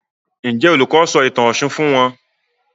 Njé Olùkó sọ ìtàn òshun fún wón?